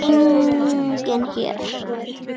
Enginn hér.